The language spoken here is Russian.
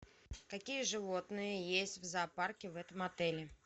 какие животные есть в зоопарке в этом отеле